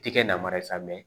Tɛ kɛ namara ye sa